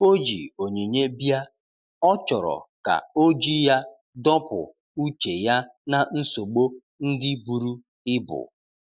O ji onyinye bia,ọ chọrọ ka oji ya dọpụ uche ya na nsogbo ndi buru ibụ.